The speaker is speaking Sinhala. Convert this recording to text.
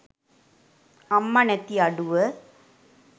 අම්මා නැති අඩුව.